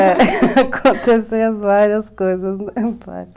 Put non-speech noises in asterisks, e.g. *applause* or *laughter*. *laughs* Aconteceu várias coisas.